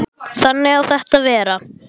Þannig á þetta að vera.